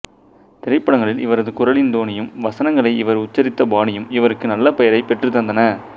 திரைப்படங்களில் இவரது குரலின் தொனியும் வசனங்களை இவர் உச்சரித்த பாணியும் இவருக்கு நல்லபெயரைப் பெற்றுத்தந்தன